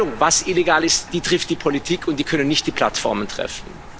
Die Entscheidung, was illegal ist, trifft die Politik die können nicht die Plattform treffen.